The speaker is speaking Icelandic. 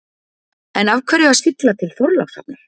En af hverju að sigla til Þorlákshafnar?